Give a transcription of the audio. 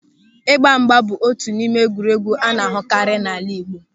Ịgbamgba bụ otu n'ime egwuregwu a na-ahụtakarị n'ala Igbo.